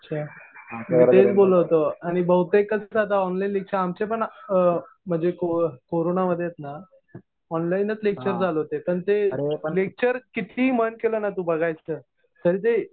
अच्छा. मी तेच बोलत होतो. आणि बहुतेक कसं आता ऑनलाईन लेक्चर. आमचे पण म्हणजे कोरोना मधेच ना ऑनलाइनच लेक्चर चालू होते. तर ते लेक्चर कितीही मन केलं ना तू बघायचं. तरी ते